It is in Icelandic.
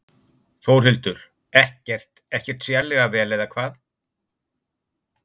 Þórhildur: Ekkert, ekkert sérstaklega vel eða hvað?